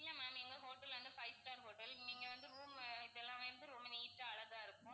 இல்ல ma'am எங்க hotel ல்ல வந்து five star hotel நீங்க வந்து room இதெல்லாம் வந்து ரொம்ப neat ஆ அழகா இருக்கும்.